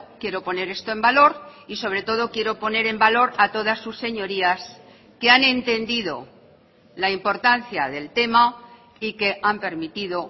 quiero poner esto en valor y sobre todo quiero poner en valor a todas sus señorías que han entendido la importancia del tema y que han permitido